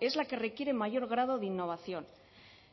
es la que requiere mayor grado de innovación